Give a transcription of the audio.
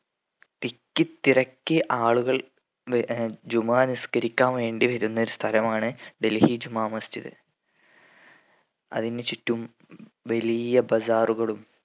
തിക്കി തിരക്കി ആളുകൾ വ ഏർ ജുമാ നിസ്കരിക്കാൻ വേണ്ടി വരുന്ന ഒരു സ്ഥലമാണ് ഡൽഹി ജുമാമസ്ജിദ് അതിന് ചുറ്റും വലിയ bazaar കളും